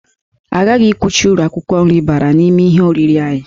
Aghaghị ikwucha uru akwụkwọ nri bara n'ihe oriri anyị